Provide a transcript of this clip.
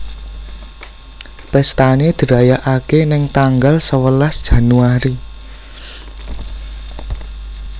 Pestane dirayakake neng tanggal sewelas Januari